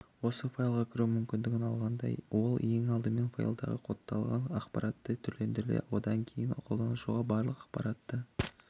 осы файлға кіруге мүмкіндік алғанда ол ең алдымен файлындағы кодталған ақпаратты түрлендіреді одан кейін қолданушыға барлық ақпаратты